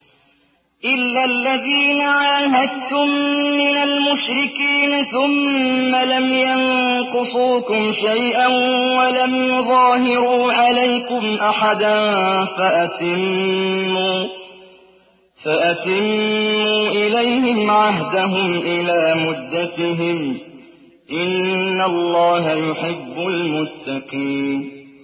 إِلَّا الَّذِينَ عَاهَدتُّم مِّنَ الْمُشْرِكِينَ ثُمَّ لَمْ يَنقُصُوكُمْ شَيْئًا وَلَمْ يُظَاهِرُوا عَلَيْكُمْ أَحَدًا فَأَتِمُّوا إِلَيْهِمْ عَهْدَهُمْ إِلَىٰ مُدَّتِهِمْ ۚ إِنَّ اللَّهَ يُحِبُّ الْمُتَّقِينَ